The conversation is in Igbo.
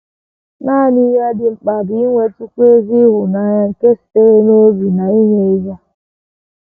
Nanị ihe dị mkpa bụ inwetụkwu ezi ịhụnanya nke sitere n’obi na inye ihe.